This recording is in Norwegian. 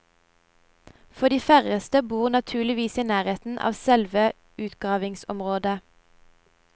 For de færreste bor naturligvis i nærheten av selve utgravningsområdet.